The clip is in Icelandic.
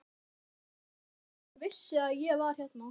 Hann yrði geggjaður ef hann vissi að ég var hérna.